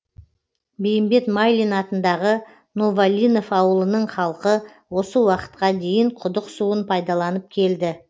бейімбет майлин атындағы новолинов ауылының халқы осы уақытта дейін құдық суын пайдаланып келді